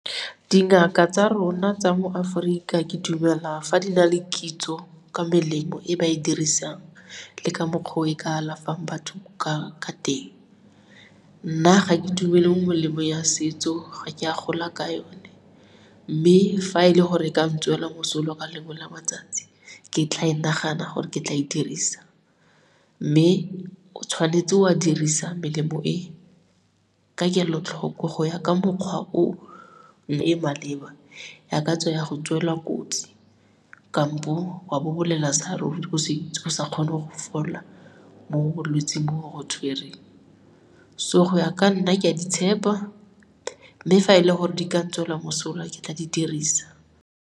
Dingaka tsa rona tsa mo Aforika ke dumela fa di na le kitso ka melemo e ba e dirisang le ka mokgwa o e ka alafang batho ka teng. Nna, ga ke dumele molemo ya setso, ga ke a gola ka yone mme fa e le gore e ka ntswela mosola ka lengwe la matsatsi, ke tla e nagana gore ke tla e dirisa. Mme o tshwanetse wa dirisa melemo e ka kelotlhoko go ya ka mokgwa o e maleba ya go tswelwa kotsi kampo wa bobolela sa ruri, go sa kgone go fola mo bolwetsing bo bo go tshwereng. So, go ya ka nna, ke a di tshepa mme fa e le gore di ka ntswela mosola, ke tla di dirisa.